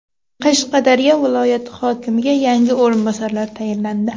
Qashqadaryo viloyati hokimiga yangi o‘rinbosarlar tayinlandi.